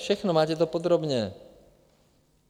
Všechno - máte to podrobně.